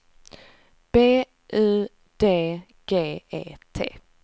B U D G E T